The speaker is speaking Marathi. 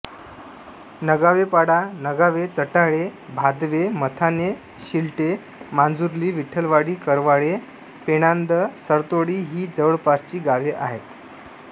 नगावेपाडा नगावे चटाळे भादवे मथाणे शिलटे मांजुर्ली विठ्ठलवाडी करवाळे पेणांद सरतोडी ही जवळपासची गावे आहेत